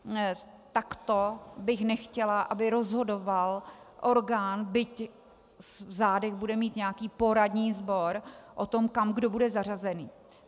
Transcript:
Takto bych nechtěla, aby rozhodoval orgán, byť v zádech bude mít nějaký poradní sbor, o tom, kam kdo bude zařazený.